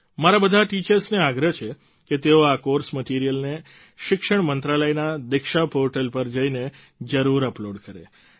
મારો બધા ટીચર્સને આગ્રહ છે કે તેઓ આ કોર્સ મટીરિયલને શિક્ષણ મંત્રાલયના દીક્ષા પોર્ટલ પર જઈને જરૂર અપલોડ કરે